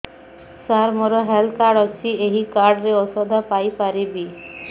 ସାର ମୋର health card ଅଛି ଏହି କାର୍ଡ ରେ ଔଷଧ ପାଇପାରିବି